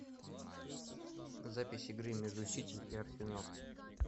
запись игры между сити и арсенал